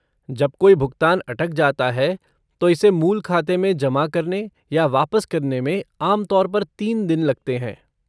जब कोई भुगतान अटक जाता है, तो इसे मूल खाते में जमा करने या वापस करने में आमतौर पर तीन दिन लगते हैं।